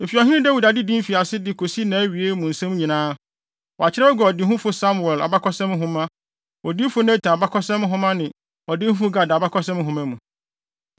Efi Ɔhene Dawid adedi mfiase de kosi nʼawie mu nsɛm nyinaa, wɔakyerɛw agu ɔdehufo Samuel abakɔsɛm nhoma, odiyifo Natan abakɔsɛm nhoma ne ɔdehufo Gad abakɔsɛm nhoma mu.